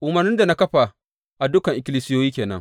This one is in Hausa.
Umarnin da na kafa a dukan ikkilisiyoyi ke nan.